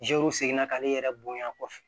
seginna k'ale yɛrɛ bonya kɔfɛ